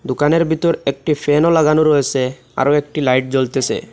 দোকানের ভিতর একটি ফ্যানও লাগানো রয়েসে আরও একটি লাইট জ্বলতেসে।